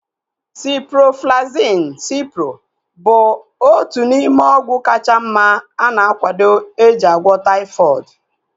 Ciproflaxin (Cipro) bụ otu n'ime ọgwụ kacha mma ana akwado eji agwọ taifọdụ